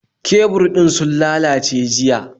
Kebur din sun lallace jiya